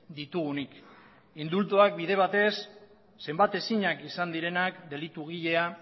ditugunik indultuak bide batez zenbatezinak izan direnak delitugilea